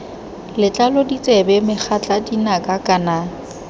letlalo ditsebe megatla dinaka kana